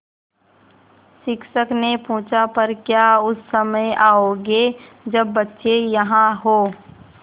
शिक्षक ने पूछा पर क्या उस समय आओगे जब बच्चे यहाँ हों